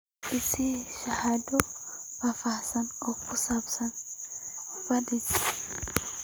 i sii sharaxaad faahfaahsan oo ku saabsan pda's